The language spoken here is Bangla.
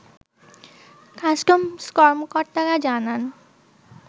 কাস্টমস কর্মকর্তারা জানান